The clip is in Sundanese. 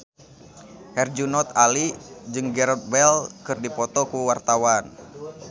Herjunot Ali jeung Gareth Bale keur dipoto ku wartawan